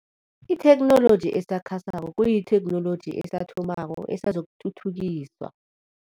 Itheknoloji esakhasako kuyitheknoloji esathomako esazokuthuthukiswa.